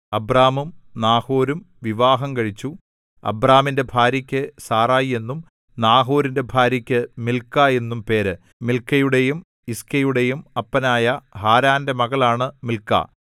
അബ്രാമും നാഹോരും വിവാഹം കഴിച്ചു അബ്രാമിന്റെ ഭാര്യക്കു സാറായി എന്നും നാഹോരിന്റെ ഭാര്യക്കു മിൽക്കാ എന്നും പേര് മിൽക്കയുടെയും യിസ്കയുടെയും അപ്പനായ ഹാരാന്റെ മകളാണ് മിൽക്ക